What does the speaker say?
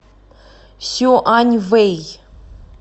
сюаньвэй